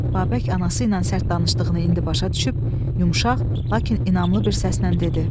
Babək anası ilə sərt danışdığını indi başa düşüb, yumşaq, lakin inamlı bir səslə dedi.